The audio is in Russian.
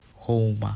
хоума